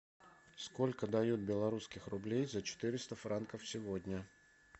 сколько дают белорусских рублей за четыреста франков сегодня